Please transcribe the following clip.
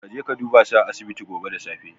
Kaje ka dubasu a asibiti gobe da safe.